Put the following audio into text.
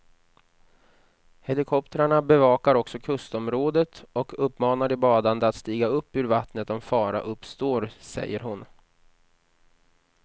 Helikoptrarna bevakar också kustområdet och uppmanar de badande att stiga upp ur vattnet om fara uppstår, säger hon.